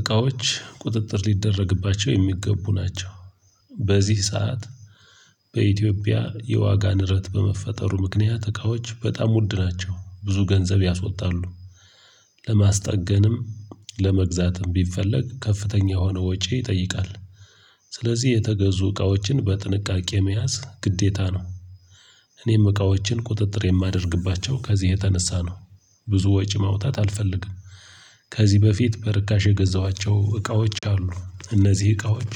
እቃዎች ቁጥጥር ሊደረግባቸው የሚገቡ ናቸው። በዚህ ሰዓት በኢትዮጵያ የዋጋ ንረት በመፈጠሩ ምክንያት እቃዎች በጣም ውድ ናቸው ብዙ ገንዘብ ያስወጣሉ። ለማስጠገንም ለመግዛትም ቢፈለግ ከፍተኛ የሆነ ወጪ ይጠይቃል። ስለዚህ የተገዙ እቃዎችን በጥንቃቄ መያዝ ግዴታ ነው። እኔም እቃዎችን ቁጥጥር የማደርግባቸው ከዚህ የተነሳ ነው። ብዙ ወጪ ማውጣት አልፈልግም። ከዚህ በፊት በርካሽ የገዛኋቸው እቃዎች አሉ እነዚህ እቃዎች።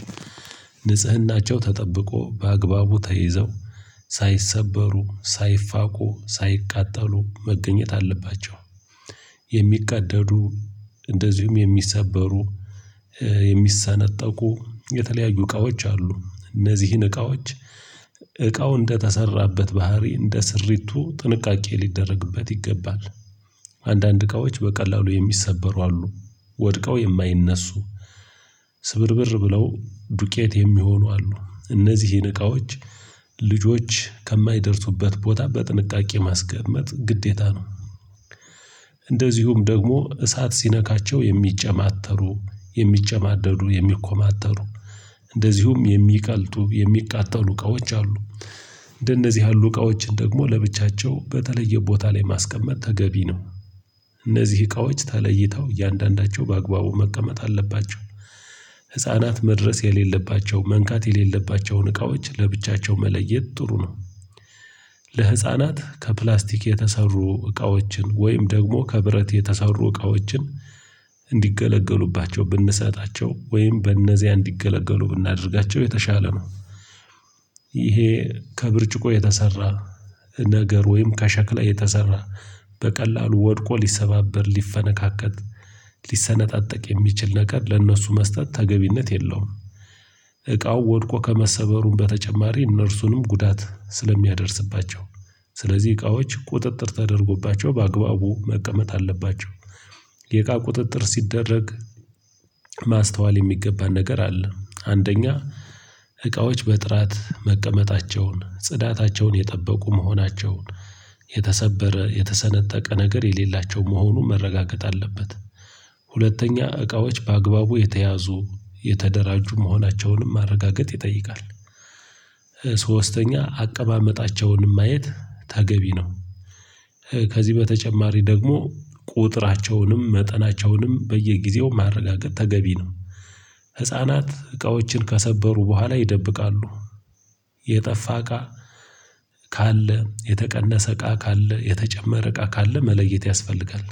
ንጽህናቸው ተጠብቆ በአግባቡ ተይዘው ሳይሰበሩ ሳይፋቁ ሳይቃጠሉ መገኘት አለባቸው። የሚቀደዱ እንደዚሁም የሚሰበሩ የሚሰነጠቁ የተለያዩ እቃዎች አሉ እነዚህን እቃዎች። እቃው እንደተሰራበት ባህሪ እንደ ስሪቱ ጥንቃቄ ሊደረግበት ይገባል። አንዳንድ እቃዎች በቀላሉ የሚሰበሩ አሉ። ወድቀው የማይነሱ ስብርብር ብለው ዱቄት የሚሆኑ አሉ። እነዚህን እቃዎች ልጆች ከማይደርሱበት ቦታ በጥንቃቄ ማስቀመጥ ግዴታ ነው። እንደዚሁም ደግሞ እሳት ሲነካቸው የሚጨማተሩ የሚጨማደዱ የሚኮማተሩ እንደዚሁም የሚቀልጡ የሚቃጠሉ እቃዎች አሉ። እንደነዚህ ያሉ እቃዎችን ደግሞ ለብቻቸው በተለየ ቦታ ላይ ማስቀመጥ ተገቢ ነው። እነዚህ እቃዎች ተለይተው እያንዳንዳቸው በአግባቡ መቀመጥ አለባቸው። ህፃናት መድረስ የሌለባቸው መንካት የሌለባቸውን እቃዎች ለብቻቸው መለየት ጥሩ ነው። ለህፃናት ከፕላስቲክ የተሰሩ እቃዎችን ወይም ደግሞ ከብረት የተሳሩ እቃዎችን እንዲገለገሉባቸው ብንሰጣቸው ወይም በእነዚያ እንዲገለገሉ ብናደርጋቸው የተሻለ ነው። ይሄ ከብርጭቆ የተሰራ ነገር ወይም ከሸክላ የተሰራ በቀላሉ ወድቆ ሊሰባበር ሊፈነካከት ሊሰነጣጠቅ የሚችል ነገር ለእነሱ መስጠት ተገቢነት የለውም። እቃው ወድቆ ከመሰበሩም በተጨማሪ እነርሱንም ጉዳት ስለሚያደርስባቸው። ስለዚህ እቃዎች ቁጥጥር ተደርጎባቸው በአግባቡ መቀመጥ አለባቸው። የእቃ ቁጥጥር ሲደረግ ማስተዋል የሚገባ ነገር አለ። አንደኛ እቃዎች በጥራት መቀመጣቸውን ጽዳታቸውን የጠበቁ መሆናቸውን የተሰበረ የተሰነጠቀ ነገር የሌላቸው መሆኑን መረጋገጥ አለበት። ሁለተኛ እቃዎች በአግባቡ የተያዙ የተደራጁ መሆናቸውንም ማረጋገጥ ይጠይቃል። ሶስተኛ አቀማመጣቸውንም ማየት ታገቢ ነው። ከዚህ በተጨማሪ ደግሞ ቁጥራቸውንም መጠናቸውንም በየጊዜው ማረጋገጥ ተገቢ ነው። ህፃናት እቃዎችን ከሰበሩ በኋላ ይደብቃሉ። የጠፋ እቃ ካለ የተቀነሰ እቃ ካለ የተጨመረ እቃ ካለ መለየት ያስፈልጋል።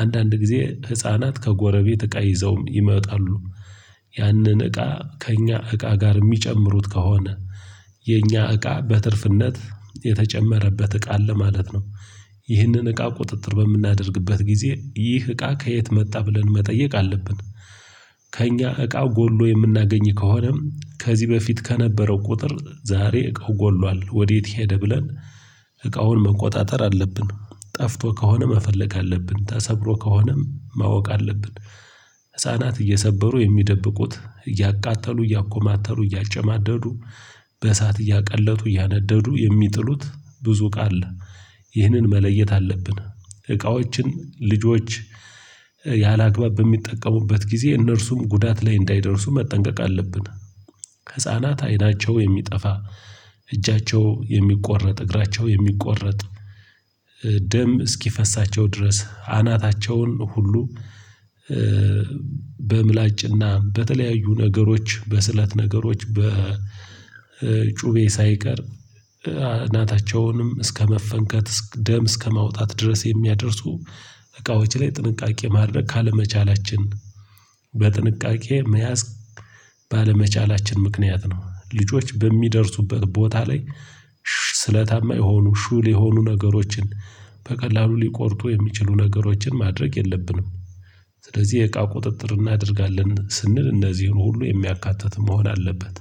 አንዳንድ ጊዜ ህፃናት ከጎረቤት እቃ ይዘውም ይመጣሉ። ያንን እቃ ከእኛ እቃ ጋር የሚጨምሩት ከሆነ የእኛ እቃ በትርፍነት የተጨመረበት እቃ አለ ማለት ነው። ይህንን እቃ ቁጥጥር በምናደርግበት ጊዜ ይህ እቃ ከየት መጣ ብለን መጠየቅ አለብን። ከእኛ እቃው ጎሎ የምናገኝ ከሆነም ከዚህ በፊት ከነበረው ቁጥር ዛሬ እቃው ጎሏል ወዴት ሄደ ብለን እቃውን መቆጣጠር አለብን ጠፍቶ ከሆነ መፈለግ አለብን ተሰብሮ ከሆነም ማወቅ አለብን። ህፃናት እየሰበሩ የሚደብቁት እያቃጠሉ እያኮማተሩ እያጨማደዱ በእሳት እያቀለጡ እያነደዱ የሚጥሉት ብዙ ቃል ይህንን መለየት አለብን። እቃዎችን ልጆች ያላግባብ በሚጠቀሙበት ጊዜ እነርሱም ጉዳት ላይ እንዳይደርሱ መጠንቀቅ አለብን። ህፃናት አይናቸው የሚጠፋ እጃቸው የሚቆረጥ እግራቸው የሚቆረጥ ደም እስኪፈሳቸው ድረስ አናታቸውን ሁሉ። በምላጭና በተለያዩ ነገሮች በስለት ነገሮች በጩቤ ሳይቀር እናታቸውንም እስከመፈንከት ደም እስከማውጣት ድረስ የሚያደርሱ እቃዎች ላይ ጥንቃቄ ማድረግ ካለመቻላችን። በጥንቃቄ መያዝ ባለመቻላችን ምክንያት ነው። ልጆች በሚደርሱበት ቦታ ላይ ስለታማ የሆኑ ሹል የሆኑ ነገሮችን በቀላሉ ሊቆርጡ የሚችሉ ነገሮችን ማድረግ የለብንም። ስለዚህ የእቃ ቁጥጥር እናደርጋለን ስንል እነዚህን ሁሉ የሚያካትት መሆን አለበት።